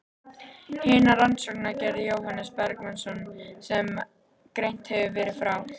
Hina rannsóknina gerði Jóhannes Bergsveinsson, sem greint hefur verið frá.